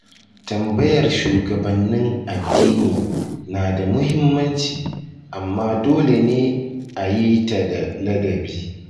Tambayar shugabannin addini na da muhimmanci, amma dole ne a yi ta da ladabi.